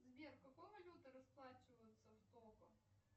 сбер какой валютой расплачиваются в того